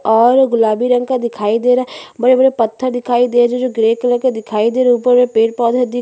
और गुलाबी रंग का दिखाई दे रहा है बड़े-बड़े पत्थर दिखाई दे रहे है जो ग्रे कलर का दिखाई दे रहे ऊपर में पेड़-पौधे दिख--